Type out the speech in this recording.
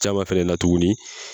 Caman fɛrɛ na tuguni.